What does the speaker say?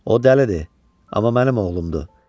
O dəlidir, amma mənim oğlumdur.